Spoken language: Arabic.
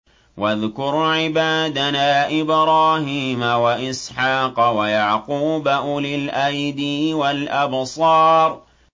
وَاذْكُرْ عِبَادَنَا إِبْرَاهِيمَ وَإِسْحَاقَ وَيَعْقُوبَ أُولِي الْأَيْدِي وَالْأَبْصَارِ